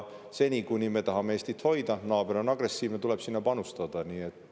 Seni, kuni me tahame Eestit hoida, aga naaber on agressiivne, tuleb sinna panustada.